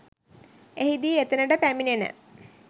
එහිදී එතනට පැමිණෙන